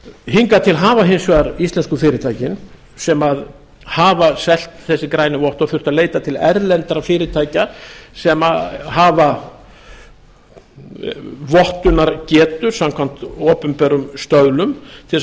hingað til hafa hins vegar íslensku fyrirtækin sem hafa selt þessi grænu vottorð þurft að leita til erlendra fyrirtækja sem hafa vottunargetu samkvæmt opinberum stöðlum til þess